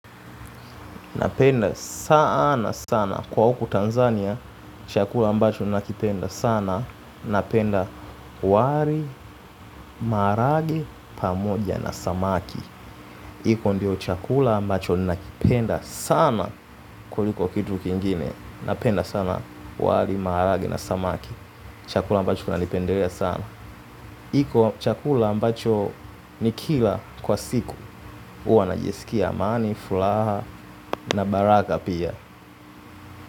Napenda sana sana kwa huku Tanzania. Chakula ambacho nakipenda sana. Napenda wali maharage pamoja na samaki. Iko ndio chakula ambacho nakipenda sana kuliko kitu kingine. Napenda sana wali maharage na samaki. Chakula ambacho nakipendelea sana. Iko chakula ambacho nikila kwa siku hUwa najisikia amani, furaha na baraka pia.